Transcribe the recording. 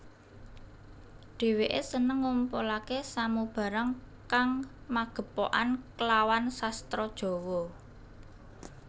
Dhèwèké seneng ngumpulaké samubarang kang magepokan klawan sastra Jawa